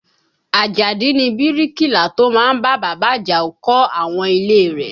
Àjàdí ni bíríkìlà tó má ń bá bàbá Àjàó kọ́ àwọn ilé e rẹ̀